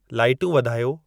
लाइटूं वधायो